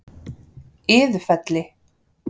Iðufelli